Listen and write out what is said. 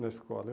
na escola.